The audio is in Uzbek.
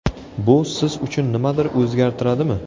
Bu siz uchun nimadir o‘zgartiradimi?